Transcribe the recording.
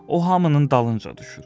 O hamının dalınca düşür.